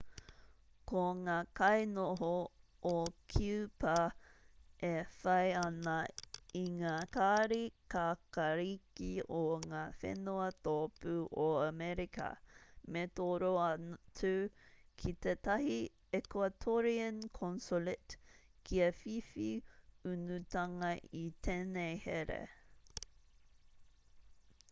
ko ngā kainoho o kiupa e whai ana i ngā kāri kākāriki o ngā whenua tōpū o amerika me toro atu ki tētahi ecuatorian consulate kia whiwhi unutanga i tēnei here